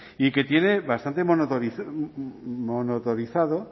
y que tiene bastante motorizado